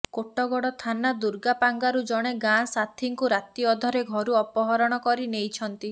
କୋଟଗଡ଼ ଥାନା ଦୁର୍ଗାପାଙ୍ଗାରୁ ଜଣେ ଗାଁ ସାଥୀଙ୍କୁ ରାତି ଅଧରେ ଘରୁ ଅପହରଣ କରି ନେଇଛନ୍ତି